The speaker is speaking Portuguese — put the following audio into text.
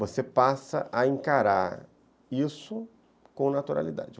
Você passa a encarar isso com naturalidade.